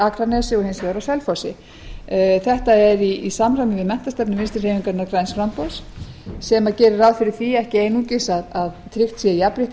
akranesi og hins vegar á selfossi þetta er í samræmi við menntastefnu vinstri hreyfingarinnar græns framboðs sem gerir ráð fyrir því ekki einungis að tryggt sé jafnrétti